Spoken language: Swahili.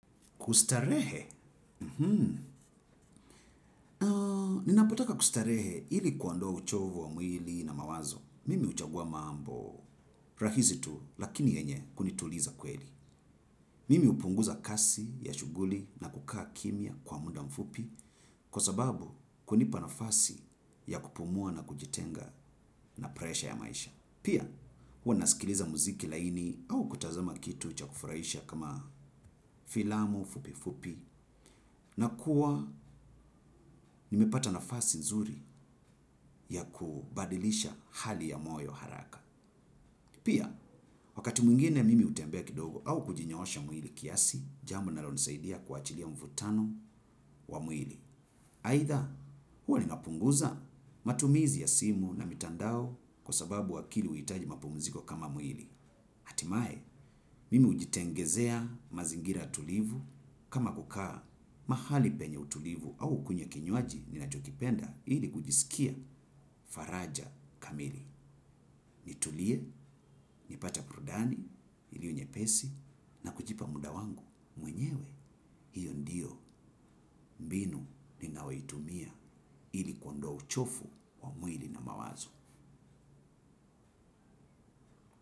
Kustarehe? Ninapotaka kustarehe ili kuondoa uchovu wa mwili na mawazo. Mimi huchagua mambo rahisi tu lakini yenye kunituliza kweli. Mimi upunguza kazi ya shughuli na kukaa kimya kwa muda mfupi kwa sababu kunipa nafasi ya kupumua na kujitenga na presha ya maisha. Pia, huwa nasikiliza muziki laini au kutazama kitu cha kufurahisha kama filamu fupi fupi. Nakuwa nimepata nafasi nzuri ya kubadilisha hali ya moyo haraka. Pia, wakati mwingine mimi utembea kidogo au kujinyoosha mwili kiasi, jambo linalonisaidia kuachilia mvutano wa mwili. Aidha, huwa ninapunguza matumizi ya simu na mitandao kwa sababu akili huitaji mapumziko kama mwili. Hatimae, mimi ujitengenezea mazingira tulivu kama kukaa mahali penye utulivu au kunywa kinywaji ninachokipenda ili kujisikia faraja kamili. Nitulie, nipate burudani iliyo nyepesi na kujipa muda wangu mwenyewe hiyo ndiyo mbinu ninayoitumia ili kuondoa uchovu wa mwili na mawazo.